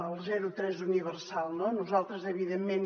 el zero tres universal no nosaltres evidentment